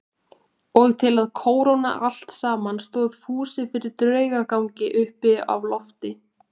Og til að kóróna allt saman stóð Fúsi fyrir draugagangi uppi á lofti.